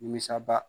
Nimisaba